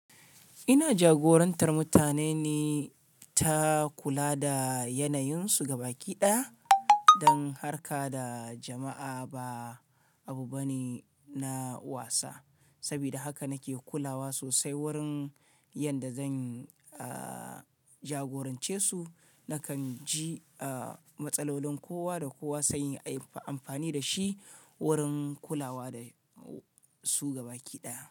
Ina jagorantar mutane ne, ta kula da yanayunsu gabaki ɗaya don harka da jama'a ba abu bane na wasa. Saboda haka nake kulawa sosai wurin yadda zan, uh, jagorance su. Nakan ji, uh, matsalolin kowa da kowa sai inyi amfani da shi wurin kulawa da su gabaki ɗaya.